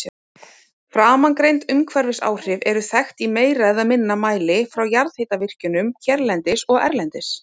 Framangreind umhverfisáhrif eru þekkt í meira eða minna mæli frá jarðhitavirkjunum hérlendis og erlendis.